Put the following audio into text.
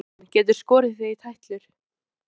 Spegillinn getur skorið þig í tætlur.